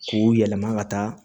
K'u yɛlɛma ka taa